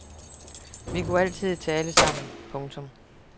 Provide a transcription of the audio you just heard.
Vi kunne altid tale sammen. punktum